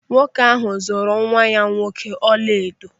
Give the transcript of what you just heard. Nwoke ahụ zụrụ nwa ya nwoke ọla edo.